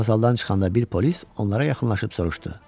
Vağzaldan çıxanda bir polis onlara yaxınlaşıb soruşdu.